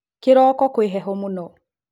Kĩroko kwĩ heho mũno